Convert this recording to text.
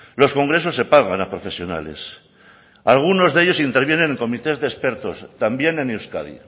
los congresos se pagan a profesionales algunos de ellos intervienen en comités de expertos también en euskadi